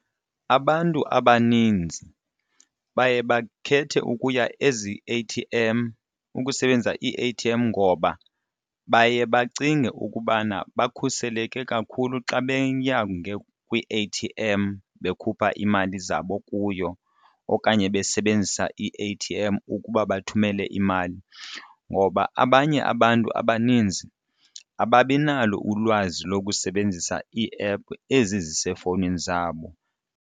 Abantu abaninzi baye bakhethe ukuya ezi-A_T_M ukusebenzisa ii-A_T_M ngoba baye bacinge ukubana bakhuseleke kakhulu xa beya kwii-A_T_M bekhupha imali zabo kuyo okanye besebenzisa i-A_T_M ukuba bathumele imali, ngoba abanye abantu abaninzi ababi nalo ulwazi lokusebenzisa ii-app ezi zisefowunini zabo.